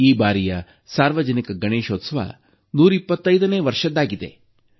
ಈ ಬಾರಿಯ ಸಾರ್ವಜನಿಕ ಗಣೇಶೋತ್ಸವ 125ನೇ ವರ್ಷದ್ದಾಗಿದೆ